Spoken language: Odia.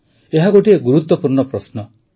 ଏହା ଗୋଟିଏ ଗୁରୁତ୍ୱପୂର୍ଣ୍ଣ ପ୍ରଶ୍ନ